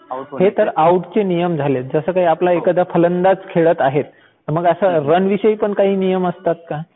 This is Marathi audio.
हे तर आउट चे नियम झालेत. जसं काही आपला एखादा फलंदाज खेळत आहे, तर मग असं रन विषयी पण काही नियम असतात का?